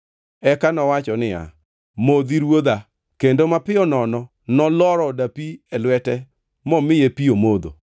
Eka nowacho niya, “Modhi, ruodha” kendo mapiyo nono noloro dapi e lwete momiye pi omodho.